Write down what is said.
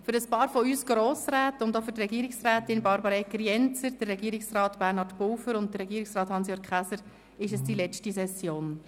Für ein paar von uns Grossräten sowie für Regierungsrätin Barbara Egger-Jenzer, für Regierungspräsident Bernhard Pulver und für Regierungsrat Hans-Jürg Käser ist dies die letzte Session.